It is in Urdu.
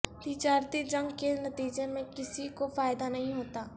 تجارتی جنگ کے نتیجے میں کسی کو فائدہ نہیں ہوتا